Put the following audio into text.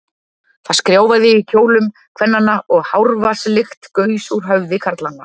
Það skrjáfaði í kjólum kvennanna, og hárvatnslykt gaus úr höfði karlanna.